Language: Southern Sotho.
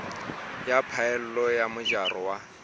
ya phaello le mojaro wa